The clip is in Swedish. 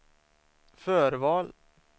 förval